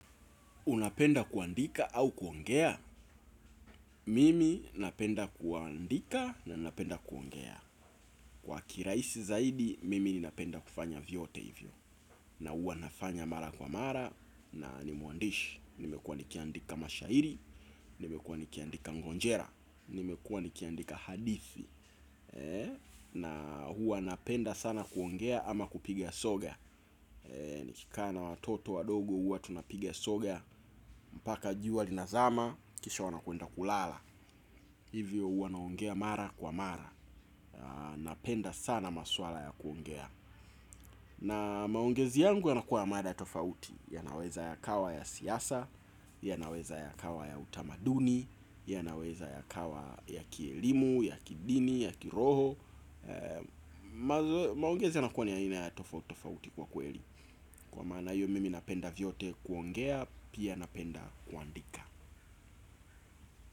Unapenda kuandika au kuongea? Mimi napenda kuandika na napenda kuongea. Kwa kirahisi zaidi, mimi ninapenda kufanya vyote hivyo. Na hua nafanya mara kwa mara na ni mwandishi. Nimekuwa nikiandika mashairi, nimekuwa nikiandika ngonjera, nimekuwa nikiandika hadithi. Na huwa napenda sana kuongea ama kupiga soga. Nikikana watoto wadogo huwa tunapiga soga. Mpaka jua linazama, kisha wanakwenda kulala. Hivyo huwa naongea mara kwa mara. Napenda sana maswala ya kuongea. Na maongezi yangu yanakuwa ya mada tofauti. Yanaweza yakawa ya siasa. Yanaweza yakawa ya utamaduni. Yanaweza yakawa ya kielimu, ya kidini, ya kiroho maongezi yanakuwa ni aina ya tofautitofauti kwa kweli kwa mana hiyo mimi napenda vyote kuongea pia napenda kuandika.